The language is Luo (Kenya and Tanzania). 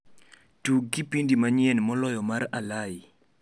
tug kipindi manyien moloyo mar alai